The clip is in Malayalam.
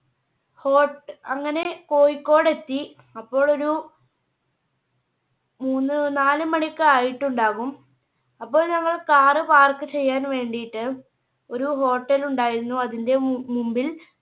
hot അങ്ങനെ കോഴിക്കോടെത്തി അപ്പോൾ ഒരു മൂന്ന് നാല് മണിയൊക്കെ ആയിട്ടുണ്ടാകും. അപ്പോൾ ഞങ്ങൾ Car park ചെയ്യാൻ വേണ്ടിട്ട് ഒരു Hotel ൽ ഉണ്ടായിരുന്നു അതിന്റെ മു~മുൻപിൽ